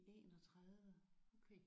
I 31